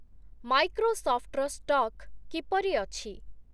ମାଇକ୍ରୋସଫ୍ଟର stock କିପରି ଅଛି ?